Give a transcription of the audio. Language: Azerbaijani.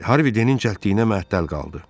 Harvidinin cəldliyinə məhəttəl qaldı.